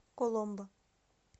коломбо